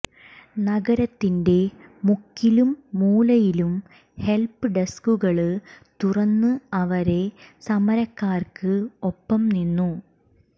നഗരത്തിന്റെ മുക്കിലും മൂലയിലും ഹെല്പ് ഡെസ്കുകള് തുറന്ന് അവര് സമരക്കാര്ക്ക് ഒപ്പം നിന്നു